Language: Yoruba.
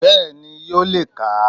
Bẹ́ẹ̀ni yóò le kà a